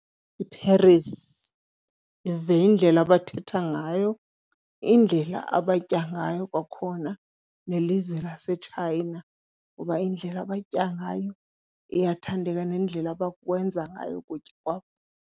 IParis yive indlela abathetha ngayo, indlela abatya ngayo, kwakhona nelizwe laseChina kuba indlela abatya ngayo iyathandeka nendlela abakwenza ngayo ukutya kwabo.